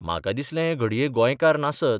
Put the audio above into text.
म्हाका दिसलें हें घडये गोंयकार नासत.